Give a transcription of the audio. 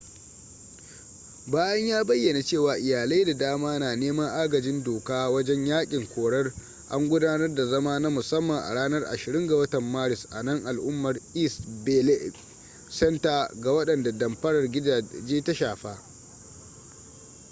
bayan ya bayyana cewa iyalai da dama na neman agajin doka wajen yakin korar an gudanar da zama na musamman a ranar 20 ga watan maris a nan al'umar east bay law center ga wadanda damfarar gidaje ta shafa